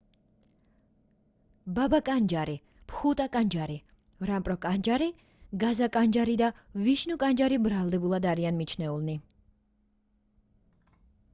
ბაბა კანჯარი ბჰუტა კანჯარი რამპრო კანჯარი გაზა კანჯარი და ვიშნუ კანჯარი ბრალდებულებად არიან მიჩნეულნი